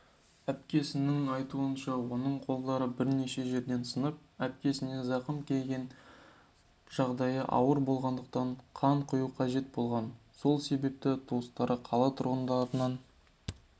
әпкесінің айтуынша оның қолдары бірнеше жерден сынып өкпесіне зақым келген жағдайы ауыр болғандықтан қан құю қажет болған сол себепті туыстары қала тұрғындарынақан